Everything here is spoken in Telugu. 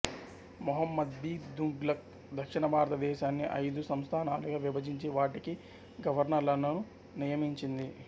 ముహ్హమద్బీన్తుగ్లక్ దక్షిణభారతదేశాన్ని అయిదు సంస్థానాలుగా విభజించి వాటికి గవర్నర్లను నియమించింది